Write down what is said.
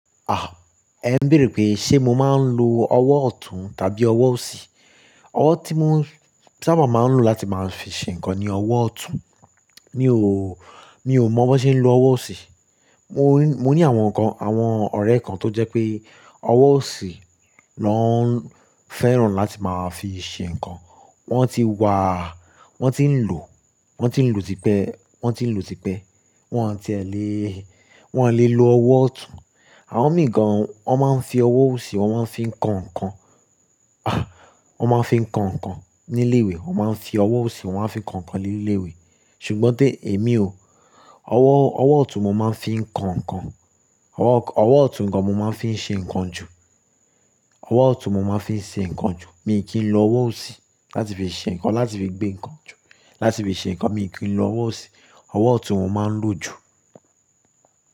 Ah, ẹ̀ ń béèrè pé ṣe mo máa ń lo ọwọ́ ọ̀tún tàbí ọwọ́ òsì? Ọwọ́ tí mo sábà máa ń lò láti máa fi ṣe nǹkan ni ọwọ́ ọ̀tún. Mi ò, mi ò mọ̀ bó ṣe ń lo ọwọ́ òsì. Mo ní, mo ní àwọn kan, àwọn ọ̀rẹ́ kan tó jẹ́ pé ọwọ́ òsì ló ń fẹ́ràn láti máa fi ṣe nǹkan. Wọ́n ti wa, wọ́n ti ń lò, wọ́n ti ń lò tí pẹ́, wọ́n ti ń lò tí pẹ́. Wọ́n ti ẹ lè, wọ́n lè lo ọwọ́ ọ̀tún. Àwọn mìí gan, wọ́n máa ń fi ọwọ́ òsì, wọ́n máa ń fi ń ko ńnkàn. Wọ́n máa ń fi ń ko ńnkàn ní ilé ìwé. Wọ́n máa ń fi ọwọ́ òsì, wọ́n máa ń fi ko nnkàn ní ilé ìwé. Ṣùgbọ́n ti èmi o, ọwọ́, ọwọ́ ọ̀tún mo máa ń fi ń ko ńnkàn. Ọwọ́ ọ̀tún gan mo máa ń fi ṣe nǹkan jù. Ọwọ́ ọ̀tún mo máa ń fi ṣe nǹkan jù. Mi ò kí ń lo ọwọ́ òsì láti fi ṣe nǹkan, láti fi gbé nǹkan jù, láti fi ṣe nǹkan mi ò kí ń lo ọwọ́ òsì. Ọwọ́ ọ̀tún mo máa ń lò jù.